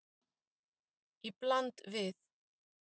Í bland við